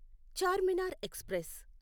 Charminar express